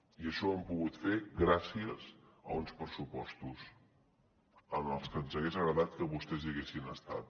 i això ho hem pogut fer gràcies a uns pressupostos en els que ens hagués agradat que vostès hi haguessin estat